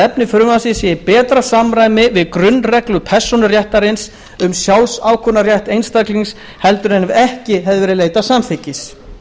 efni frumvarpsins sé í betra samræmi við grunnreglu persónuréttarins um sjálfsákvörðunarrétt einstaklingsins heldur en ef ekki hefði verið leitað samþykkis